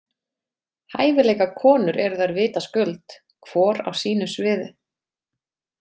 Hæfileikakonur eru þær vitaskuld, hvor á sínu sviði.